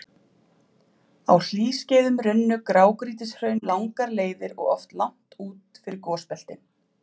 Á hlýskeiðum runnu grágrýtishraun langar leiðir og oft langt út fyrir gosbeltin.